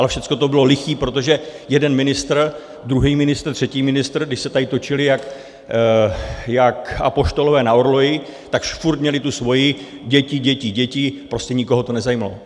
Ale všechno to bylo liché, protože jeden ministr, druhý ministr, třetí ministr, když se tady točili jak apoštolové na orloji, tak furt měli tu svoji: děti, děti, děti, prostě nikoho to nezajímalo.